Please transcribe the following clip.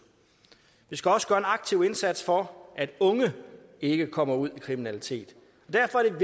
vi skal også gøre en aktiv indsats for at unge ikke kommer ud i kriminalitet derfor er